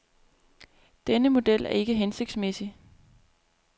Denne model er ikke hensigtsmæssig.